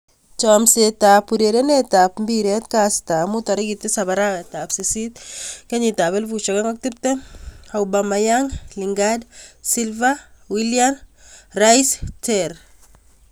Chomset ab urerenet ab mbiret kastab mut 7.08.2020: Aubameyang, Lingard, Silva, Willian, Soyuncu, Rice, Terr